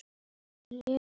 Finn með honum.